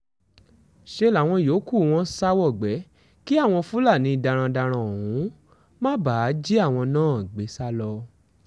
ṣe làwọn yòókù wọn sá wọgbé kí àwọn fúlàní darandaran ọ̀hún má bàa jí àwọn náà gbé sá lọ